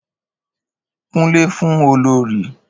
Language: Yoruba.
Kúnlẹ̀ fún olorì